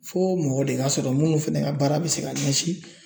Fo mɔgɔ de ka sɔrɔ minnu fana ka baara bɛ se ka ɲɛsin